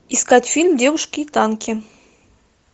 искать фильм девушки и танки